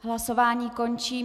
Hlasování končím.